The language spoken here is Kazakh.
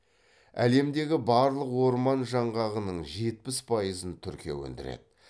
әлемдегі барлық орман жаңғағының жетпіс пайызын түркия өндіреді